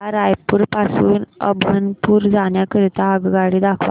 मला रायपुर पासून अभनपुर जाण्या करीता आगगाडी दाखवा